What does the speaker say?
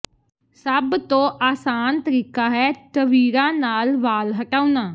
ਸਭ ਤੋਂ ਆਸਾਨ ਤਰੀਕਾ ਹੈ ਟਵੀਰਾਂ ਨਾਲ ਵਾਲ ਹਟਾਉਣਾ